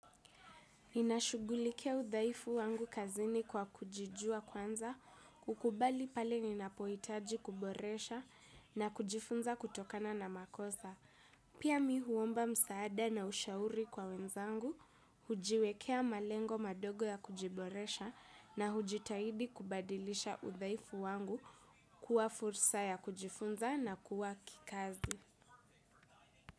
Ninashugulikia udhaifu wangu kazini kwa kujijua kwanza, kukubali pale ninapoitaji kuboresha na kujifunza kutokana na makosa. Pia mi huomba msaada na ushauri kwa wenzangu, hujiwekea malengo madogo ya kujiboresha na hujitahidi kubadilisha udhaifu wangu kuwa fursa ya kujifunza na kuwa kikazi.